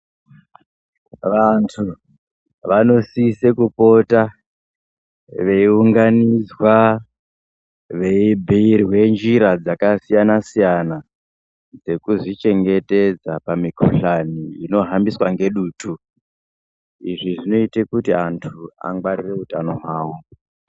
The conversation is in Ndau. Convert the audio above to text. Vantu, vanosisa kupota veiunganidzwa, veibhiirwe njira dzakasiyana-siyana, dzekuzvichengetedza, pamikuhlani inohambiswa ngedutu. Izvi zvinoite kuti antu angwarire utano hwawo.